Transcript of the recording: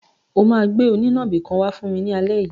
O máa gbé onínàbì kan wá fún mi ní alẹ́ yìí.